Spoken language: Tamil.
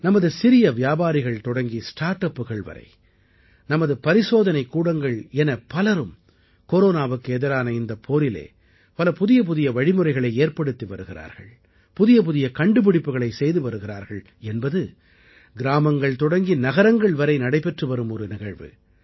நமது சிறிய வியாபாரிகள் தொடங்கி ஸ்டார்ட் அப்புகள் வரை நமது பரிசோதனைக்கூடங்கள் என பலரும் கொரோனாவுக்கு எதிரான இந்தப் போரிலே பல புதியபுதிய வழிமுறைகளை ஏற்படுத்தி வருகிறார்கள் புதியபுதிய கண்டுபிடிப்புக்களைச் செய்து வருகிறார்கள் என்பது கிராமங்கள் தொடங்கி நகரங்கள் வரை நடைபெற்றுவரும் ஒரு நிகழ்வு